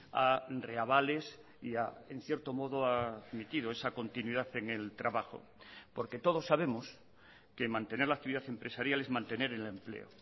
a reavales y en cierto modo ha admitido esa continuidad en el trabajo porque todos sabemos que mantener la actividad empresarial es mantener el empleo